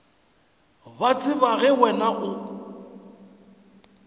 ba tseba ge wena o